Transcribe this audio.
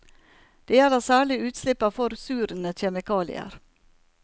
Det gjelder særlig utslipp av forsurende kjemikalier.